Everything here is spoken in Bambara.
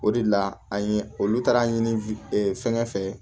O de la an ye olu taara ɲini fɛnkɛ fɛ